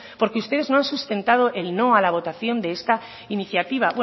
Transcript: porque ustedes no han sustentado el no a la votación de esta iniciativa